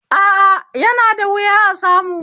A a, yana da wuya a samu